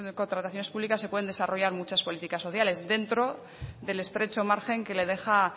contrataciones públicas se pueden desarrollar muchas políticas sociales dentro del estrecho margen que le deja